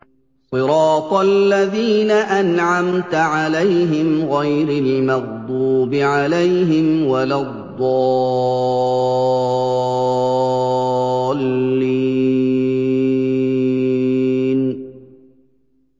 صِرَاطَ الَّذِينَ أَنْعَمْتَ عَلَيْهِمْ غَيْرِ الْمَغْضُوبِ عَلَيْهِمْ وَلَا الضَّالِّينَ